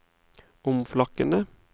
omflakkende